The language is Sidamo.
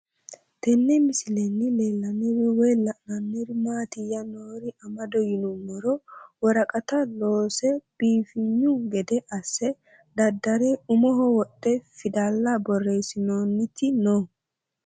Tenne misilenni la'nanniri woy leellannori maattiya noori amadde yinummoro woraqatta loose koofinyu gede asse dadare umoho wodhe fidalla borreessinoonnitti noo